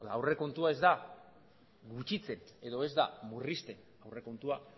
aurrekontua ez da gutxitzen edo ez da murrizten aurrekontua